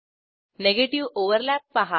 negative overlap पहा